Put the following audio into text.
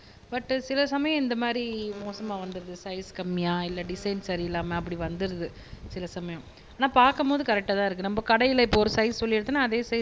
but சில சமயம் இந்த மாதிரி மோசமா வந்துருது சைஸ் கம்மியா இல்ல டிசைன் சரி இல்லாம அப்படி வந்துருது சில சமயம் ஆனா பாக்கும்போது கரெக்ட்டா தான் இருக்கு நம்ம கடைல இப்போ ஒரு சைஸ் சொல்லி எடுத்தோம்னா அதே சைஸ்